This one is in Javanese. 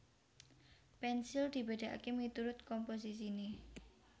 Pensil dibedakake miturut komposisine